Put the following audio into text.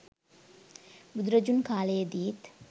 බුදුරජුන් කාලයේදීත්